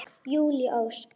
Júlí Ósk.